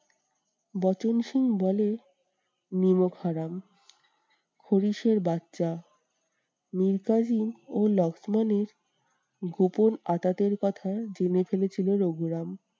বচনসুর বলেন নিমকহারাম মিরকাশিম ও লক্ষ্মণের গোপন আঁতাতের কথা জেনে ফেলেছিলেন রঘুরাম।